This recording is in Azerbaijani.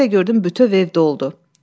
Bir də gördüm bütöv ev doldu.